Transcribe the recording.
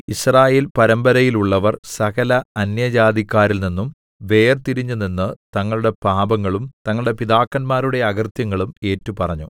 യിസ്രായേൽപരമ്പരയിലുള്ളവർ സകല അന്യജാതിക്കാരിൽ നിന്നും വേർതിരിഞ്ഞുനിന്ന് തങ്ങളുടെ പാപങ്ങളും തങ്ങളുടെ പിതാക്കന്മാരുടെ അകൃത്യങ്ങളും ഏറ്റുപറഞ്ഞു